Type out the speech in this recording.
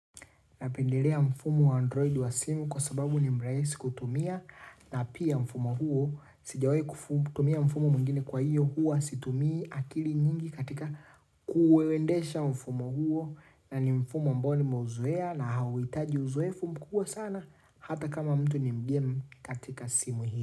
Napendelea mfumo wa android wa simu kwa sababu ni mraisi kutumia na pia mfumo huo Sijawai kutumia mfumo mwingine kwa hiyo huwa situmii akili nyingi katika kuuwendesha mfumo huo na ni mfumo ambao nimeuzoea na hauhitaji uzoefu mkubwa sana hata kama mtu ni mgeni katika simu hii.